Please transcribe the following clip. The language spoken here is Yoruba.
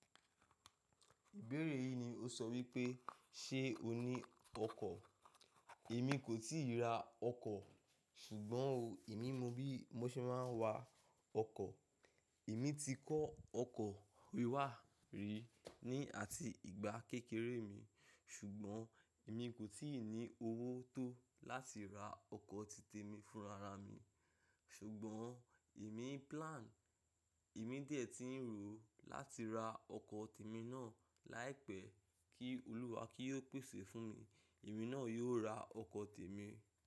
Ìbéèrè yìí ni o sọ wípé ṣe o ní ọkọ̀? Èmi kò tíì ra ọkọ̀ ṣùgbọ́n o, èmi mọ bí mo ṣe máa ń wa ọkọ̀. Èmi ti kọ́ ọkọ̀ wiwá rí ní àti ìgbà kékeré mi ṣùgbọ́n èmi kò tíì ní owó tó láti ra ọkọ̀ ti tèmi fún rara mi. Ṣùgbọ́n èmi plan, èmi dè tí ń rò ó láti ra ọkọ̀ tèmi náà láìpẹ́ kí Olúwa kí ó pèsè fún mi. Èmi náà yóò ra ọkọ̀ tèmi.